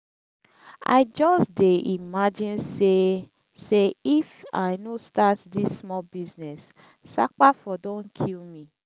i just dey imagine say say if i no start dis small business sapa for don kill me